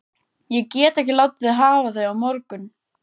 Ég get ekki látið þig hafa þau á morgun